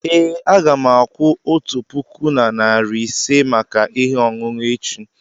ee, a ga m akwụ otu puku na narị ise maka ihe ọṅụṅụ echi.